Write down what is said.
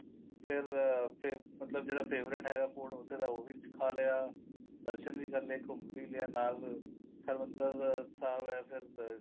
ਫੇਰ ਮਤਲਬ ਜਿਹੜਾ favorite ਹੈਗਾ food ਉੱਥੇ ਦਾ ਉਹ ਵੀ ਖਾ ਲਿਆ ਦਰਸ਼ਨ ਵੀ ਕਰ ਲੈ ਘੁੰਮ ਵੀ ਲਿਆ ਨਾਲ ਹਰਿਮੰਦਰ ਸਾਹਿਬ ਏ ਫੇਰ